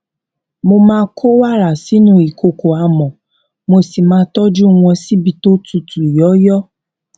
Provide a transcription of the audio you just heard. mo máa kó wàrà sínú ìkòkò amò mo sì máa tójú wọn síbi tó tutù yòyò